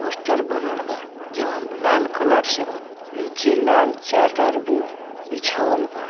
Poster बनल बा जउन लाल कलर से बा निचे लाल चादर भी बिछावल बा।